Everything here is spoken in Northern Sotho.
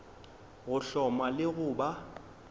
go hloma le go ba